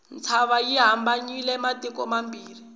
ntshava yi hambanyisa matiko mambirhi